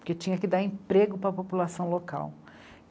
porque tinha que dar emprego para a população local.